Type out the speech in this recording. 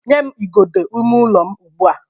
nye m igodo ime ụlọ m ugbua!